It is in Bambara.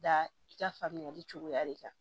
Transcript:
Da i ka faamuyali cogoya de kan